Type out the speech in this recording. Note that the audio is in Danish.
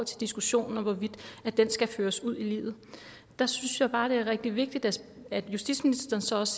diskussionen om hvorvidt den skal føres ud i livet der synes jeg bare at det er rigtig vigtigt at at justitsministeren så også